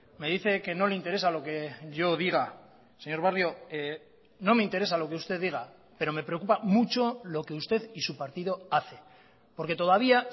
me dice que no le interesa lo que yo diga señor barrio no me interesa lo que usted diga pero me preocupa mucho lo que usted y su partido hace porque todavía